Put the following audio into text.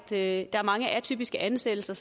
er at der er mange atypiske ansættelser